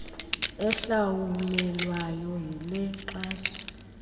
ehlawulelwayo yile nkxaso